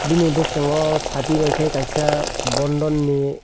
bini boskango sati bai khe kaisa bondon ni--